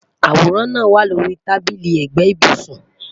Aworan naa wa lori tabili ẹgbẹ ibusun